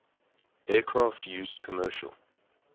aircraft used commercial